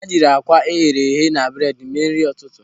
Ha jiri akwa eghere eghe na bredi mee nri ụtụtụ.